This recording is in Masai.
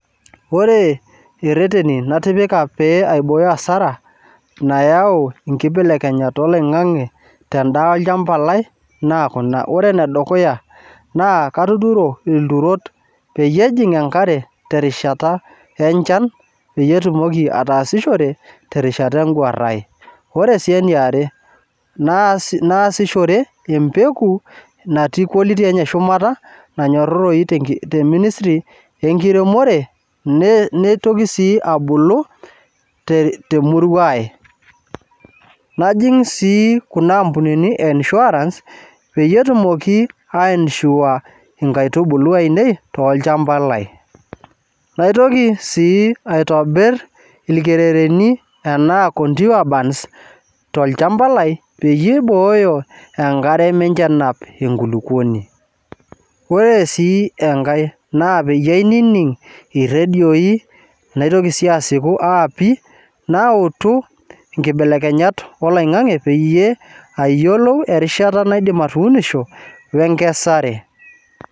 Ore ireteni natipika pee aibooyo asara nayau inkibelekenyat olong'ang'e tendaa olchamba lai naa kuna ore enedukuya naa katuturo ilturot peyie ejing enkare terishata enchan peyie etumoki ataasishore terishata enguarrae ore sii eniare naas naasishore empeku natii quality enye shumata nanyorroyu tenki te ministry enkiremore ne neitoki sii abulu te temurua ae najing sii kuna ampunini eh insurance peyie etumoki ae insure inkaitubulu ainei tolchambai lai naitoki sii aitobirr ilkerereni ana contour burns tolchamba lai peyie eibooyo enkare mincho enap enkulukuoni ore sii enkae naa peyie aining irredioi naitoki sii asiku aapi nautu inkibelekenyat oloing'ang'e peyie ayiolou erishata naidim atuunisho wenkesare.